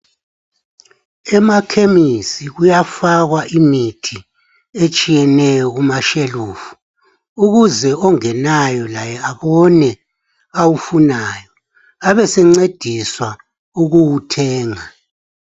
Emakhemisi kuyafakwa imithi etshiyeneyo kumashelufu ukuze ongenayo laye abone awufunayo abesencediswa ukuwuthenga.